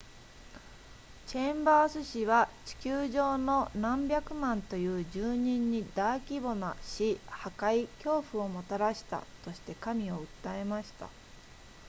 チェンバース氏は地球上の何百万という住人に大規模な死破壊恐怖をもたらしたとして神を訴えました